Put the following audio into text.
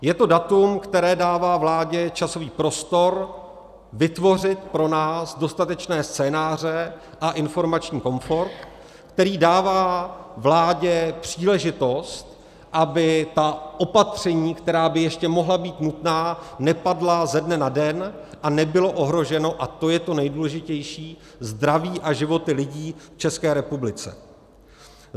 Je to datum, které dává vládě časový prostor vytvořit pro nás dostatečné scénáře a informační komfort, který dává vládě příležitost, aby ta opatření, která by ještě mohla být nutná, nepadla ze dne na den a nebylo ohroženo - a to je to nejdůležitější - zdraví a životy lidí v České republice.